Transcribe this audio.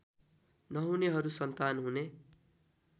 नहुनेहरू सन्तान हुने